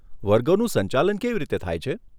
વર્ગોનું સંચાલન કેવી રીતે થાય છે?